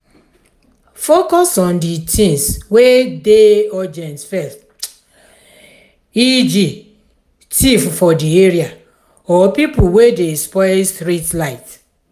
focus on di things wey dey urgent first eg thief for di area or pipo wey dey spoil street light